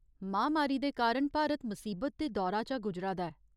महामारी दे कारण भारत मसीबत दे दौर चा गुजरा दा ऐ।